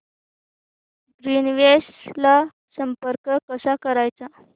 Greenwaves ला संपर्क कसा करायचा